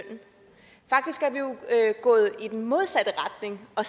gået i den modsatte retning og